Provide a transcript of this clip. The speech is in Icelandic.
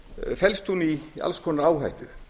felst hún í alls konar áhættu